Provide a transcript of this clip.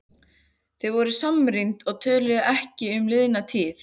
Þau voru samrýnd og töluðu ekki um liðna tíð.